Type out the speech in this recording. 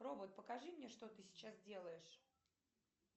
робот покажи мне что ты сейчас делаешь